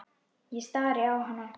Ég stari á hana.